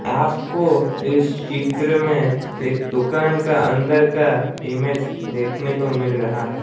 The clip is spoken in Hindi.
आपको इस चित्र में एक दुकान का अंदर का इमेज देखने को मिल रहा है।